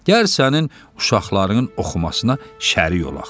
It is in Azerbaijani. Gəl sənin uşaqların oxumasına şərik olaq.